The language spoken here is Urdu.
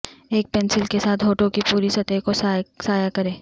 ایک پنسل کے ساتھ ہونٹوں کی پوری سطح کو سایہ کریں